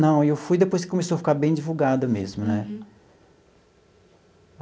Não, eu fui depois que começou a ficar bem divulgada mesmo, né?